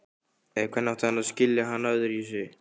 Eða hvernig átti hann að skilja hana öðruvísi?